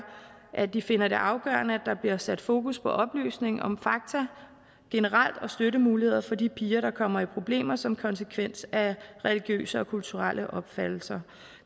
at de finder det afgørende at der bliver sat fokus på oplysning om fakta generelt og støttemuligheder for de piger som kommer i problemer som konsekvens af religiøse og kulturelle opfattelser